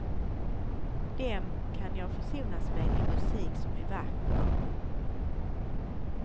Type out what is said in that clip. Dem kan jag försonas med i musik som är vacker.